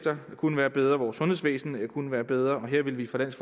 kunne være bedre vores sundhedsvæsen kunne være bedre og her ville vi fra dansk